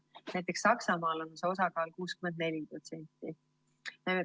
Näiteks Saksamaal on see osakaal 64%.